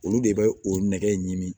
Olu de bɛ o nɛgɛ ɲimi